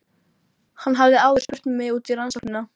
Hann hafði áður spurt mig út í rannsóknina.